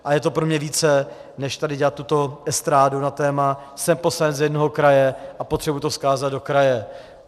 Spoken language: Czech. A je to pro mě více než tady dělat tuto estrádu na téma "jsem poslanec z jednoho kraje a potřebuju to vzkázat do kraje".